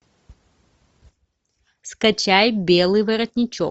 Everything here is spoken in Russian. скачай белый воротничок